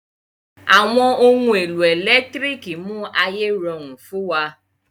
Àwọn ohun èlò ẹ̀lẹ́tírìkì mú ayé rọrùn fún wa.